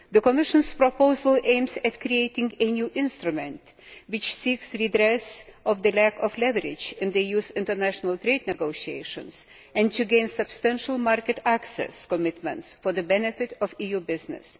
The Commission's proposal aims to create a new instrument which seeks to redress the lack of leverage in the EU's international trade negotiations and to gain substantial market access commitments for the benefit of EU business.